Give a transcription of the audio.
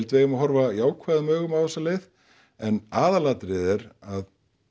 við eigum að horfa jákvæðum augum á þessa leið en aðalatriðið er að